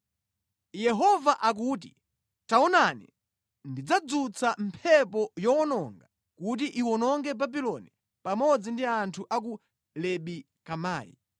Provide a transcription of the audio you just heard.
Yehova akuti, “Taonani, ndidzadzutsa mphepo yowononga kuti iwononge Babuloni pamodzi ndi anthu a ku Lebi Kamai.